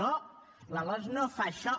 no la losc no fa això